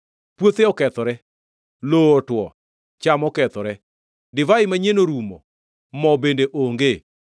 Puothe okethore, lowo otwo; cham okethore, divai manyien orumo, mo bende onge.